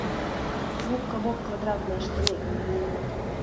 губка боб квадратные штаны